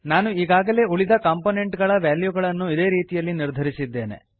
ನಾನು ಈಗಾಗಲೇ ಉಳಿದ ಕಾಂಪೋನೆಂಟ್ ಗಳ ವಾಲ್ಯೂಗಳನ್ನು ಇದೇ ರೀತಿಯಲ್ಲಿ ನಿರ್ಧರಿಸಿದ್ದೇನೆ